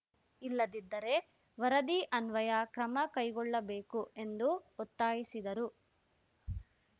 ಇಲ್ಲದಿದ್ದರೆ ವರದಿ ಅನ್ವಯ ಕ್ರಮ ಕೈಗೊಳ್ಳಬೇಕು ಎಂದು ಒತ್ತಾಯಿಸಿದರು